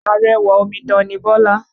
Arẹwà omidan ni Bọ́lá.